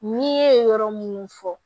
N'i ye yɔrɔ munnu fɔ